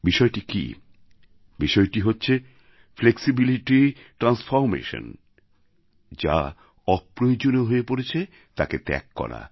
বিষয়টি কি বিষয়টি হচ্ছে ফ্লেক্সিবিলিটি ট্রান্সফরমেশন যা অপ্রয়োজনীয় হয়ে পরেছে তাকে ত্যাগ করা